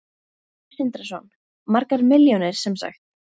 Sindri Sindrason: Margar milljónir sem sagt?